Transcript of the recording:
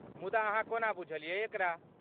मुदा अहाँ कोना बुझलियै एकरा?